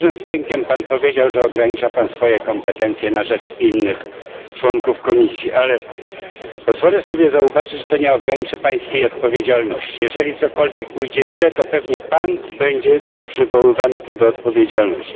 Z dużym wdziękiem powiedział Pan, że ogranicza Pan swoje kompetencje na rzecz innych członków Komisji, ale pozwolę sobie zauważyć, że to nie ogranicza Pańskiej odpowiedzialności. Jeżeli cokolwiek pójdzie źle, to pewnie Pan będzie przywoływany tutaj do odpowiedzialności.